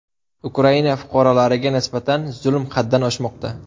Ukraina fuqarolariga nisbatan zulm haddan oshmoqda.